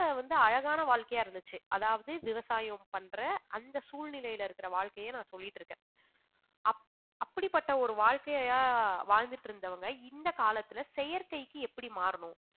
வந்து அழகான வாழ்க்கையா இருந்துச்சு அதாவது விவசாயம் பண்ற அந்த சூழ்நிலையில இருக்கிற வாழ்க்கையை நான் சொல்லிட்டிருக்கேன் அப்~ அப்படிப்பட்ட ஒரு வாழ்க்கையா வாழ்ந்திட்டிருந்தவங்க இந்த காலத்துல செயற்கைக்கு எப்படி மாறணும்